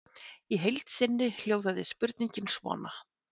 Í heild sinni hljóðaði spurningin svona: